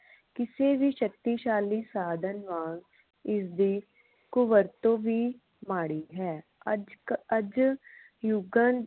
ਕਿਸੇ ਵੀ ਸ਼ਕਤੀਸ਼ਾਲੀ ਸਾਧਨ ਵਾਂਗ ਇਸਦੀ ਕੁਵਰਤੋਂ ਵੀ ਮਾੜੀ ਹੈ ਅਜਕ ਅੱਜ ਯੁਗਾ